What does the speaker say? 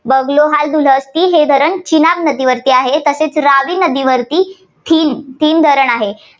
बगलोहार दुलहत्ती हे धरण चिनाब नदीवरती आहे. तसेच रावी नदीवरती थीन धरण आहे.